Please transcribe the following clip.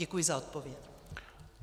Děkuji za odpověď.